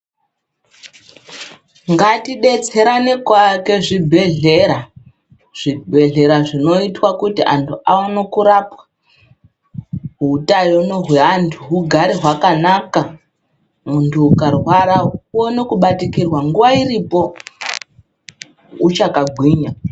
Ngatidetserane kuaka zvibhedhlera, zvibhedhlera zvinoitwa kuti anhu aone kurapwa hutano hweantu hugare hwakanaka. Muntu ukarwara uone kubatikirwa nguwa iripo uchakagwinya.